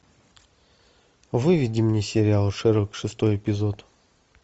выведи мне сериал шерлок шестой эпизод